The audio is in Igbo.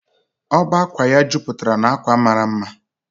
ọbá ákwà ya jupatara na akwa mara mma